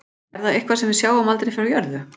Er það eitthvað sem við sjáum aldrei frá jörðu?